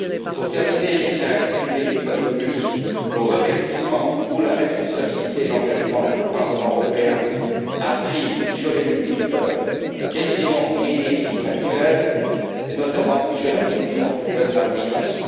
Pour terminer, je tiens à exprimer, une fois de plus, nos remerciements pour la responsabilité et l'engagement que le Parlement européen a pris sur les multiples questions et défis actuels, et notamment sur la question de la migration.